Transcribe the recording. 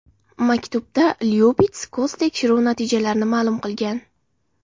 Maktubda Lyubits ko‘z tekshiruvi natijalarini ma’lum qilgan.